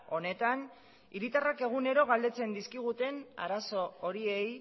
honetan hiritarrak egunero galdetzen dizkiguten arazo horiei